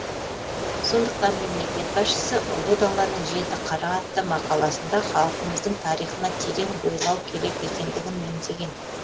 сондықтан мемлекет басшысы ұлы даланың жеті қыры атты мақаласында халқымыздың тарихына терең бойлау керек екендігін меңзеген